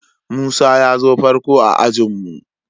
Musa ya zo farko a'ajin mu.